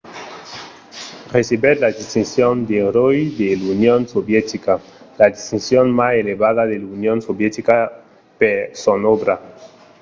recebèt la distincion d'"eròi de l'union sovietica la distincion mai elevada de l'union sovietica per son òbra